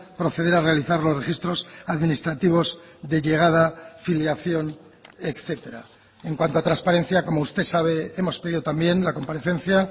proceder a realizar los registros administrativos de llegada filiación etcétera en cuanto a transparencia como usted sabe hemos pedido también la comparecencia